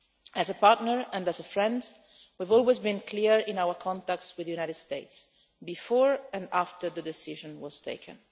As a partner and as a friend, we have always been clear in our contacts with the United States, before and after the decision was taken.